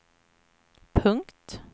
punkt